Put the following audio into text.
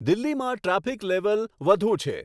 દિલ્હીમાં traffic level વધુ છે